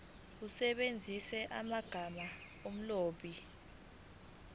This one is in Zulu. usebenzise amagama omlobi